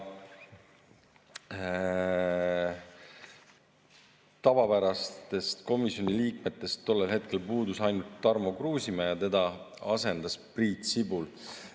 Tavapärastest komisjoni liikmetest puudus tollel hetkel ainult Tarmo Kruusimäe ja teda asendas Priit Sibul.